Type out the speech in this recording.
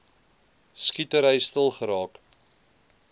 skietery stil geraak